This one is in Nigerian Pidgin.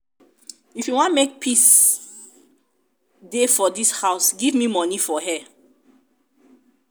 if you wan make peace wan make peace dey for dis house give me money for hair?